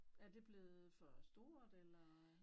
Er det blevet for stort eller